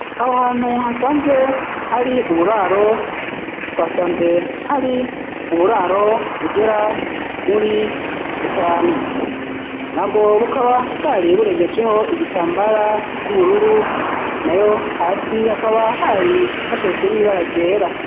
Aho hantu hasanzwe hari uburaro twasanze hari uburaro bugera muri butanu na bwo bukaba bwari burengejeho igitambara c'ubururu nayo hasi hakaba hari hashajijwe n'ibara ryera